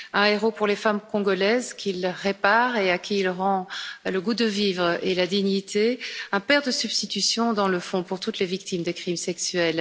Un héros pour les femmes congolaises qu'il répare et à qui il rend le goût de vivre et la dignité. Un père de substitution dans le fond pour toutes les victimes de crimes sexuels.